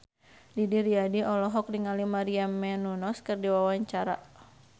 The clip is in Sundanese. Didi Riyadi olohok ningali Maria Menounos keur diwawancara